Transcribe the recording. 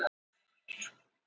sérstakar æðar